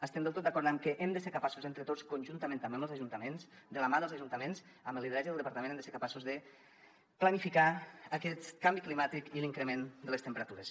estem del tot d’acord amb que hem de ser capaços entre tots conjuntament també amb els ajuntaments de la mà dels ajuntaments amb el lideratge del departament de planificar aquest canvi climàtic i l’increment de les temperatures